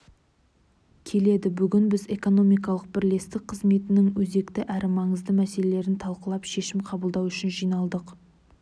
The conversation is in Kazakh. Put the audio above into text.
келеді бүгін біз экономикалық бірлестік қызметінің өзекті әрі маңызды мәселелерін талқылап шешім қабылдау үшін жиналдық